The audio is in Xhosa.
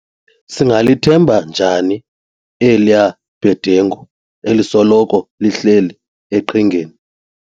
Singalithemba njani eliya bhedengu elisoloko lihleli eqhingeni.